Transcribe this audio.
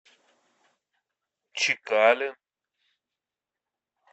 чекалин